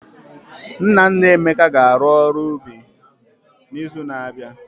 Nna nna Emeka ga-arụ ọrụ obi n'izu na-abịa.